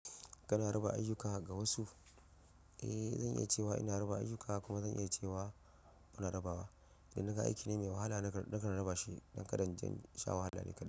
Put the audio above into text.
Kana raba ayyuka ga wasu? Eh, zan iya cewa ina raba ayyuka kuma zan iya cewa, muna raba ba. Idan naga aiki ne mai wahala, nakan raba shi, don ka inje in sha wahala ni ka ɗai.